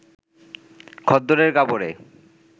খদ্দরের কাপড়ে